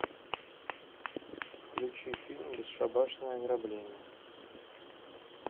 включи фильм бесшабашное ограбление